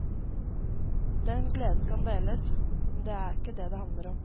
Den gleden kan deles, men det er ikke det det handler om.